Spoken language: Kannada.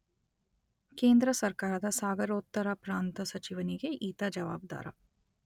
ಕೇಂದ್ರ ಸರ್ಕಾರದ ಸಾಗರೋತ್ತರ ಪ್ರಾಂತ ಸಚಿವನಿಗೆ ಈತ ಜವಾಬ್ದಾರ.